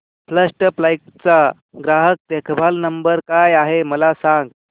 first flight चा ग्राहक देखभाल नंबर काय आहे मला सांग